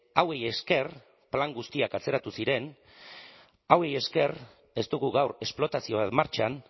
hauei esker plan guztiak atzeratu ziren hauei esker ez dugu gaur esplotazioak martxan